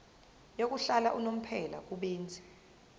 yokuhlala unomphela kubenzi